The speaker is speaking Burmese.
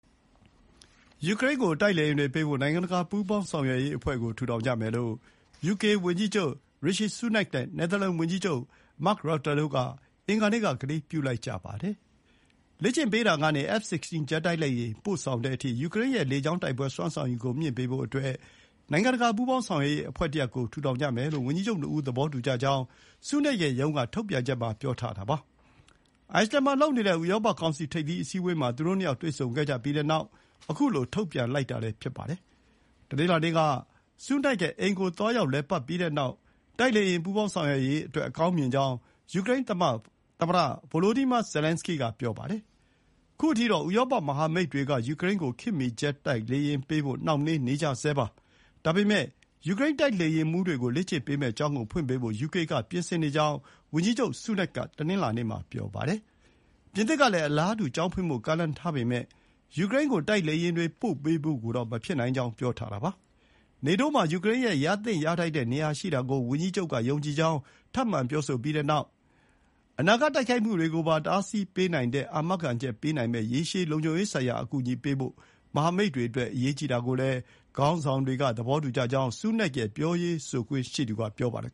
ယူကရိန်းကို တိုက်လေယာဥ်တွေပေးဖို့ နိုင်ငံတကာ ပူးပေါင်းဆောင်ရွက်ရေးအဖွဲ့ထူထောင်ကြမယ်လို့ ယူကေဝန်ကြီးချုပ် Rishi Sunak နဲ့ နယ်သာလန်ဝန်ကြီးချုပ် မာ့က် ရပ်တာ (Mark Rutte) တို့က အင်္ဂါနေ့က ကတိပြုလိုက်ကြပါတယ်။ “လေ့ကျင့်ပေးတာကနေ F16 ပို့ဆောင်တဲ့အထိ ယူကရိန်းရဲ့ လေကြောင်းတိုက်ပွဲ စွမ်းဆောင်ရည်မြှင့်ပေးဖို့ နိုင်ငံတကာ ပူးပေါင်းဆောင်ရွက်ရေးအဖွဲ့တရပ်ကို ထူထောင်ကြမယ်လို့ ဝန်ကြီးချုပ် ၂ ဦး သဘောတူကြကြောင်း ဆူးနက်ရဲ့ရုံးက ထုတ်ပြန်ချက်မှာ ပြောထားပါတယ်။ အိုက်စလင်န်မှာလုပ်နေတဲ့ ဥရောပကောင်စီ ထိပ်သီး အစည်းအဝေးမှာ သူတို့ ၂ ယောက် တွေ့ဆုံကြပြီးတဲ့နောက် ခုလို ထုတ်ပြန်လိုက်တာလည်း ဖြစ်ပါတယ်။ တနင်္လာနေ့က Sunak ရဲ့အိမ်ကို သွားရောက်လည်ပတ်ပြီးတဲ့နောက် တိုက်လေယာဥ် ပူးပေါင်းဆောင်ရွက်ရေးအတွက် အကောင်းမြင်ကြောင်း ယူကရိန်းသမ္မတ Volodymyr Zelensky က ပြောပါတယ်။ ခုအထိတော့ ဥရောပမဟာမိတ်တွေက ယူကရိန်းကို ခေတ်မီ ဂျက်တိုက်လေယာက်တွေပေးဖို့ နှောင့်နှေးနေကြဆဲပါ။ ဒါပေမဲ့ ယူကရိန်းတိုက်လေယာဥ်မှူးတွေကို လေ့ကျင့်ပေးမယ့်ကျောင်းကို ဖွင့်ပေးဖို့ ယူကေကပြင်ဆင်နေကြောင်း ဝန်ကြီးချုပ် Sunak က တနင်္လာနေ့မှာ ပြောပါတယ်။ ပြင်သစ်ကလည်း အလားတူ ကျောင်းဖွင့်ဖို့ ကမ်းလှမ်းထားပေမဲ့ ယူကရိန်းကို တိုက်လေယာဥ်တွေ ပို့ပေးဖို့ကိုတော့ မဖြစ်နိုင်ကြောင်း ပြောထားတာပါ။ နေတိုးမှာ ယူကရိန်းရဲ့ ရသင့်ရထိုက်တဲ့နေရာရှိတာကို ဝန်ကြီးချုပ် က ယုံကြည်ကြောင်း ထပ်မံ ပြောဆိုပြီး အနာဂတ်တိုက်ခိုက်မှုတွေ ကိုပါတားဆီပေးနိုင်တဲ့ အာမခံချက်ပေးနိုင်မယ့် ရေရှည်လုံခြုံရေးဆိုင်ရာအကူအညီပေးဖို့ မဟာမိတ်တွေအတွက် အရေးကြီးတာကိုလည်း ခေါင်းဆောင်တွေကသဘောတူကြကြောင်း Sunak ရဲ့ ပြောရေးဆိုခွင့်ရှိသူက ပြောပါတယ်